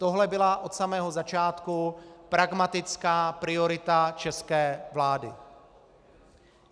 Tohle byla od samého začátku pragmatická priorita české vlády.